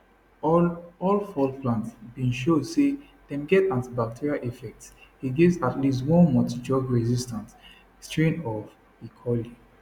all all four plants bin show say dem get antibacterial effects against at least one multidrugresistant strain of e coli